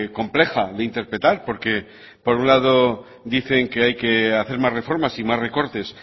compleja de interpretar porque por un lado dicen que hay que hacer más reformas y más recortes